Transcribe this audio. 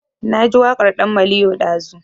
Na ji waƙar ɗan maliyo ɗazu